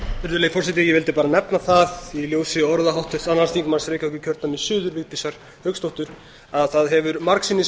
virðulegi forseti ég vildi bara nefna það í ljósi orða háttvirts annars þingmanns reykjavíkurkjördæmis suður vigdísar hauksdóttur að það hefur margsinnis